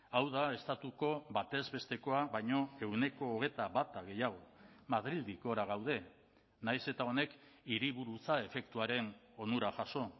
hau da estatuko batez bestekoa baino ehuneko hogeita bata gehiago madrildik gora gaude nahiz eta honek hiriburutza efektuaren onura jaso